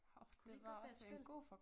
Kunne det ikke godt være et spil?